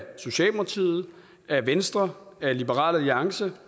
socialdemokratiet af venstre af liberal alliance